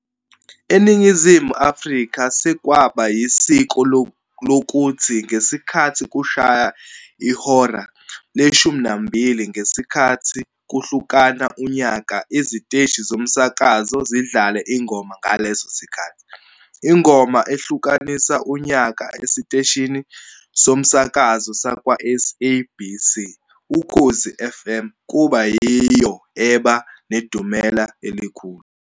ENingizimu Afrika sekwaba yisiko lokuthi ngesikhathi kushaya ihora leshumi nambili ngesikhathi kushlukana unyaka iziteshi zomsakazo zidlale ingoma ngalesi sikhathi. Ingoma ehlukanisa unyaka esiteshini somasakazo sakwa-SABC, Ukhozi Fm kuba yiyo eba nedumela elikhulu.